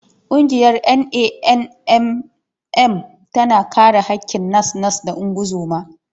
Ƙungiyar NANNM tana kare haƙƙin nas-nas da ungozoma.